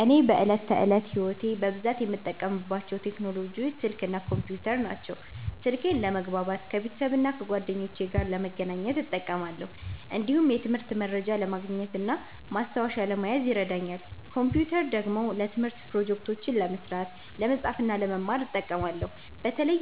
እኔ በዕለት ተዕለት ሕይወቴ በብዛት የምጠቀምባቸው ቴክኖሎጂዎች ስልክ እና ኮምፒውተር ናቸው። ስልኬን ለመግባባት ከቤተሰብና ከጓደኞቼ ጋር ለመገናኘት እጠቀማለሁ። እንዲሁም የትምህርት መረጃ ለማግኘት እና ማስታወሻ ለመያዝ ይረዳኛል። ኮምፒውተር ደግሞ ለትምህርት ፕሮጀክቶች ለመስራት፣ ለመጻፍ እና ለመማር እጠቀማለሁ። በተለይ